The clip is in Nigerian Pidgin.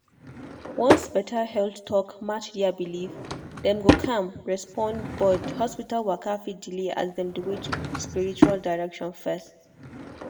once better health talk match their belief dem go calm respond but hospital waka fit delay as dem dey wait spiritual direction first.